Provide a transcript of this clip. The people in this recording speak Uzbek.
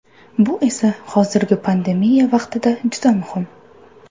Bu esa hozirgi pandemiya vaqtida juda muhim.